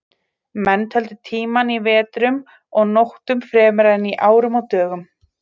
Menn töldu tímann í vetrum og nóttum fremur en í árum og dögum.